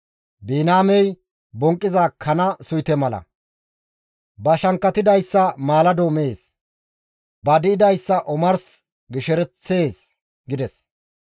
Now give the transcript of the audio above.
«Biniyaamey bonqqiza kana suyte mala. Ba shankkatidayssa maalado mees; ba di7idayssa omars gishereththees» gides.